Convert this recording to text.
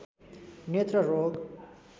नेत्र रोग